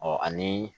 ani